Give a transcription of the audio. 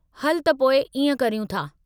हल त पोइ इएं करियूं था।